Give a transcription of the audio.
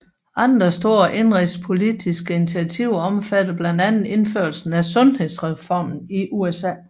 Andre store indenrigspolitiske initiativer omfatter blandt andet indførelsen af sundhedsreformen i USA